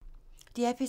DR P3